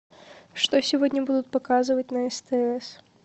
что сегодня будут показывать на стс